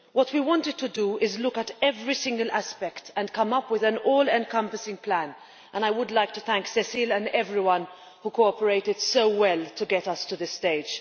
What we wanted to do is look at every single aspect and come up with an all encompassing plan, and I would like to thank Cecilia and everyone who cooperated so well to get us to this stage.